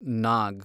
ನಾಗ್